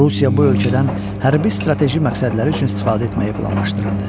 Rusiya bu ölkədən hərbi strateji məqsədləri üçün istifadə etməyi planlaşdırırdı.